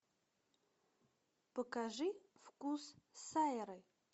покажи вкус сайры